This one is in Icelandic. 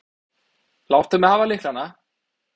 Láttu mig hafa lyklana.